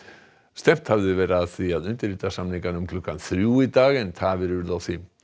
stefnt hafði verið að því að undirrita samningana um klukkan þrjú í dag en tafir urðu á því